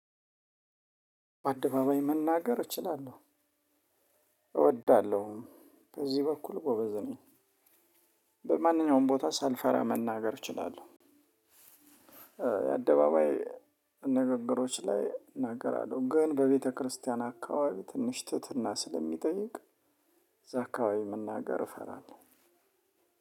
አደባባይ መናገር እችላለሁ እወዳለሁም በዚህ በኩል ጎበዝ ነኝ። በማንኛውም ቦታ ሳልፈራ መናገር እችላለሁ። የአደባባይ ንግግሮች ላይ እናገራለሁ ግን በቤተክርስቲያን አካባቢ ትንሽ ትህትና ስለሚጠይቅ። ዛአካባቢ መናገር እፈራለሁ።